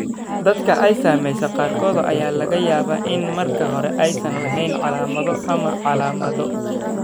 Dadka ay saameysay qaarkood ayaa laga yaabaa in marka hore aysan lahayn calaamado ama calaamado.